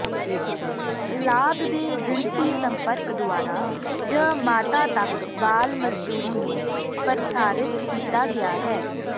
ਲਾਗ ਦੇ ਜਿਨਸੀ ਸੰਪਰਕ ਦੁਆਰਾ ਜ ਮਾਤਾ ਤੱਕ ਬਾਲ ਮਜ਼ਦੂਰੀ ਨੂੰ ਪ੍ਰਸਾਰਿਤ ਕੀਤਾ ਗਿਆ ਹੈ